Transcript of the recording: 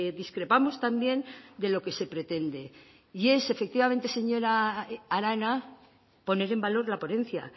discrepamos también de lo que se pretende y es efectivamente señora arana poner en valor la ponencia